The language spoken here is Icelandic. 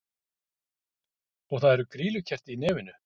Og það er grýlukerti í nefinu!